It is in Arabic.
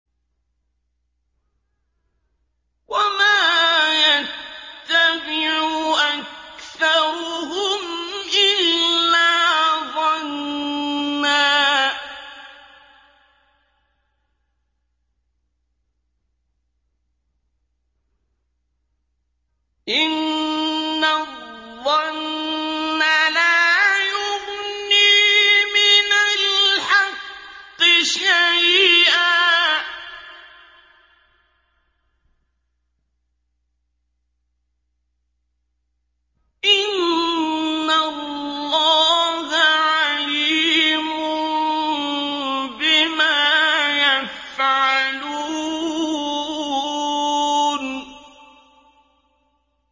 وَمَا يَتَّبِعُ أَكْثَرُهُمْ إِلَّا ظَنًّا ۚ إِنَّ الظَّنَّ لَا يُغْنِي مِنَ الْحَقِّ شَيْئًا ۚ إِنَّ اللَّهَ عَلِيمٌ بِمَا يَفْعَلُونَ